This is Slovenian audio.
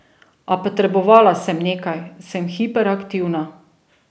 A potrebovala sem nekaj, sem hiperaktivna.